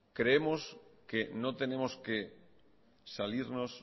creemos que no tenemos que salirnos